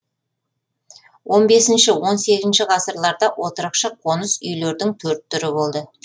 он бесінші он сегізінші ғасырларда отырықшы қоныс үйлердің төрт түрі болды